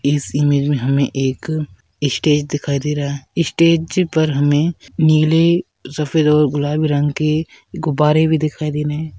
इस इमेज में हमें एक स्टेज दिखाई दे रहा है स्टेज पर हमें नीले सफ़ेद और गुलाबी रंग के गुब्बारे भी दिखाई दे रहा है।